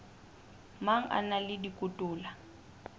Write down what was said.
mang a na le dikotola